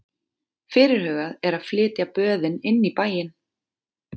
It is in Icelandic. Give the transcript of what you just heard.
Fyrirhugað er að flytja böðin inn í bæinn.